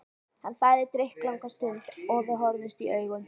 Hann þagði drykklanga stund og við horfðumst í augu.